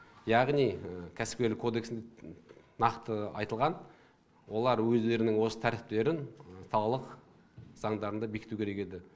яғни кәсіпкерлік кодекс нақты айтылған олар өздерінің осы тәртіптерін салалық заңдарында бекіту керек еді